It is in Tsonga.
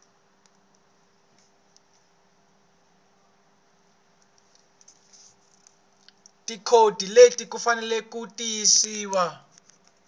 tikhodi leti faneleke ku tirhisiwa